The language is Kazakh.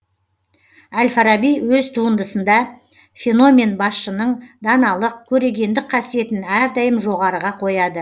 әл фараби өз туындысында феномен басшының даналық көрегендік қасиетін әрдайым жоғарыға қояды